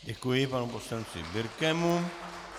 Děkuji panu poslanci Birkemu.